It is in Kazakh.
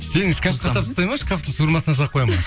сені шкафқа салып тастайды ма шкафтың суырмасына салып қояды ма